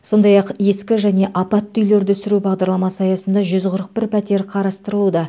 сондай ақ ескі және апатты үйлерді сүру бағдарламасы аясында жүз қырық бір пәтер қарастырылуда